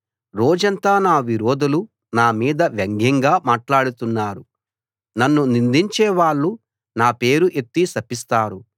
రోజంతా నా విరోధులు నా మీద వ్యంగ్యంగా మాట్లాడుతున్నారు నన్ను నిందించేవాళ్ళు నా పేరు ఎత్తి శపిస్తారు